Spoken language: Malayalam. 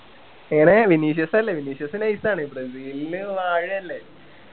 എങ്ങനെ വിനീഷ്യസ് അല്ലെ വിനീഷ്യസ് nice ആണ് ബ്രസീലില് വാഴല്ലേ